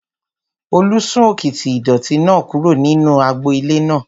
Olú sún òkìtì ìdọ̀ọ̀tí náà kúrò nínú agbo ilé náà